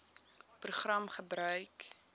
program gebruik